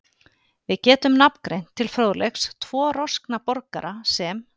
Við getum nafngreint til fróðleiks tvo roskna borgara, sem